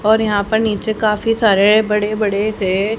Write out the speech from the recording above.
पर यहां पर नीचे काफी सारे बड़े बड़े से--